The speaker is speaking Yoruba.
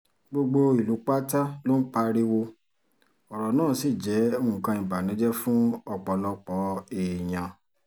gbogbo ìlú pátá ló ń pariwo ọ̀rọ̀ náà ṣì jẹ́ nǹkan ìbànújẹ́ fún ọ̀pọ̀lọpọ̀ èèyàn